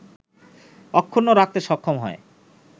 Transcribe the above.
অক্ষুণ্ন রাখতে সক্ষম হয়